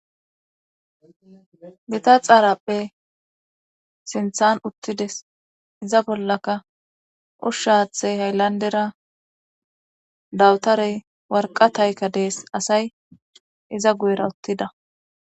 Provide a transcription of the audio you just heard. Gita xaaraphe sinthan uttides iza bollaka ushshaathey hayllandera dawutarey warqataykka dees asay iza guyera uttida